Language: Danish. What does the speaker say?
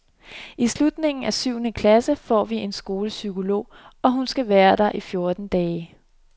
I slutningen af syvende klase får vi en skolepsykolog, hun skal være der i fjorten dage.